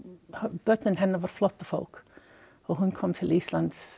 börnin hennar voru flóttafólk og hún kom til Íslands